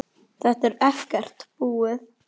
Þetta er ekkert búið.